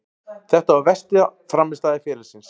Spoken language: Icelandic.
Þetta var versta frammistaða ferilsins.